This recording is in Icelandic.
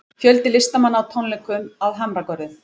Fjöldi listamanna á tónleikum að Hamragörðum